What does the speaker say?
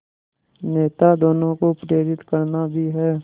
नेता दोनों को प्रेरित करना भी है